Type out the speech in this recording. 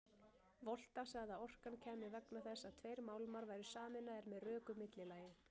Volta sagði að orkan kæmi vegna þess að tveir málmar væru sameinaðir með röku millilagi.